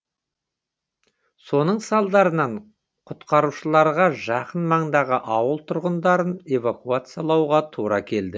соның салдарынан құтқарушыларға жақын маңдағы ауыл тұрғындарын эвакуациялауға тура келді